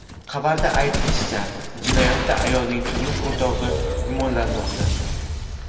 Xabarda aytilishicha, jinoyatda ayolning turmush o‘rtog‘i gumonlanmoqda.